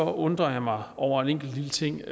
undrer jeg mig over en enkelt lille ting